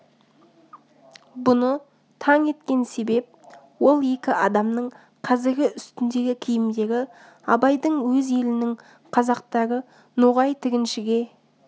бұны таң еткен себеп ол екі адамның қазіргі үстіндегі киімдері абайдың өз елінің қазақтары ноғай тігіншіге